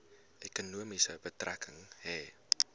ekonomie betrekking hê